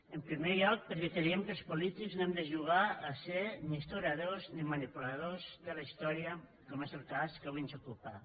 en primer lloc perquè creiem que els polítics no hem de jugar a ser ni historiadors ni manipuladors de la història com és el cas que avui ens ocupa